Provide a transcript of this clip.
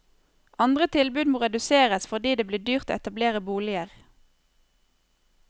Andre tilbud må reduseres fordi det blir dyrt å etablere boliger.